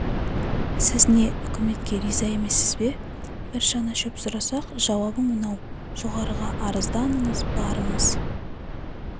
сіз не үкіметке риза емессіз бе бір шана шөп сұрасақ жауабың мынау жоғарыға арызданыңыз барыңыз